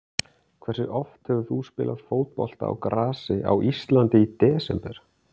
Hversu oft hefur þú spilað fótbolta á grasi á Íslandi í desember?